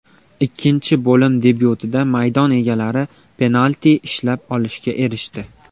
Ikkinchi bo‘lim debyutida maydon egalari penalti ishlab olishga erishdi.